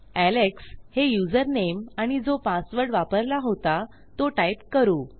Alex हे username आणि जो पासवर्ड वापरला होता तो टाईप करू